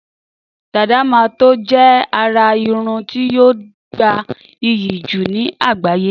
Dàdá mà tó je àrà irun tí yóò gbà iyì ní àgbáyé